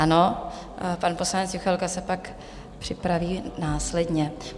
Ano, pan poslanec Juchelka se pak připraví následně.